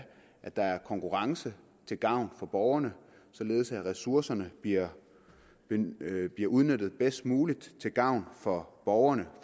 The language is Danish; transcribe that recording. der er konkurrence til gavn for borgerne således at ressourcerne bliver udnyttet bedst muligt til gavn for borgerne